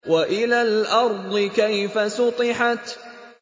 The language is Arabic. وَإِلَى الْأَرْضِ كَيْفَ سُطِحَتْ